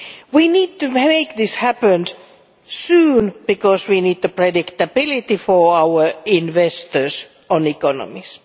We need to make this happen soon, because we need predictability for investors in our economies.